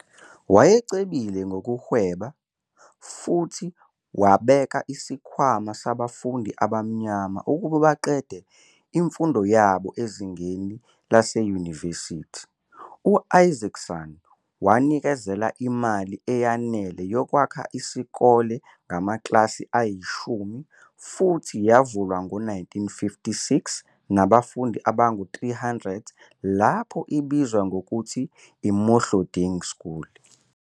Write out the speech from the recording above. Wayecebile ngokuhweba futhi wabeka isikhwama sabafundi abamnyama ukuba baqede imfundo yabo ezingeni leyunivesithi. U-Isaacson wanikeza imali eyanele yokwakha isikole ngamakilasi ayishumi futhi yavulwa ngo-1956 nabafundi abangu-300 lapho ibizwa ngokuthi "i-Mohloding School".